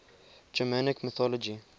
germanic mythology